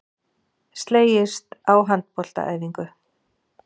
Slegist á handboltaæfingu